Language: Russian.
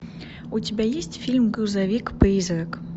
у тебя есть фильм грузовик призрак